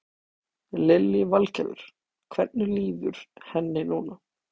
Lillý Valgerður: Hvernig líður henni núna?